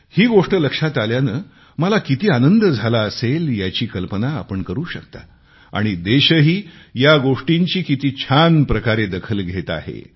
ही गोष्ट लक्षात आल्याने मला किती आनंद झाला असेल याची कल्पना आपण करू शकता आणि देशही या गोष्टींची किती छान प्रकारे दखल घेत आहे